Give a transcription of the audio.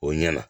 O ɲɛna